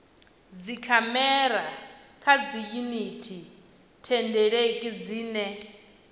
dzikhamera kha dziyuniti thendeleki dzine